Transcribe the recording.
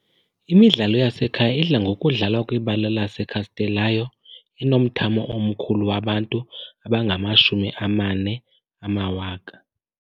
Imidlalo yasekhaya idla ngokudlalwa kwibala laseCastelão, enomthamo omkhulu wabantu abangama-40 000.